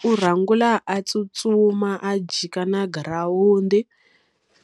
Ku rhanga a tsutsuma a jika na girawundi,